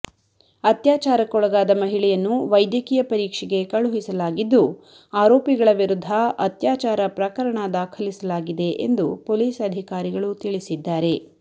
ಅತ್ಯಾಚಾರಕ್ಕೊಳಗಾದ ಮಹಿಳೆಯನ್ನು ವೈದ್ಯಕೀಯ ಪರೀಕ್ಷೆಗೆ ಕಳುಹಿಸಲಾಗಿದ್ದು ಆರೋಪಿಗಳ ವಿರುದ್ಧ ಅತ್ಯಾಚಾರ ಪ್ರಕರಣ ದಾಖಲಿಸಲಾಗಿದೆ ಎಂದು ಪೊಲೀಸ್ ಅಧಿಕಾರಿಗಳು ತಿಳಿಸಿದ್ದಾರೆ